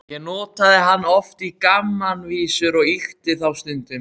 Ég notaði hann oft í gamanvísur og ýkti þá stundum.